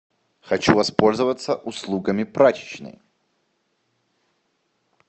хочу воспользоваться услугами прачечной